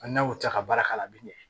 A n'a y'o ta ka baara k'a la a bɛ ɲɛ